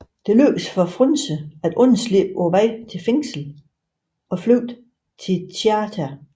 Det lykkes for Frunse at undslippe på vej til fængslet og flygte til Tjita